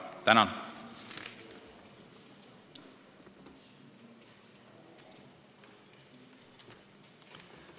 Tänan!